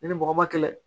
Ne ni mɔgɔ ma kɛlɛ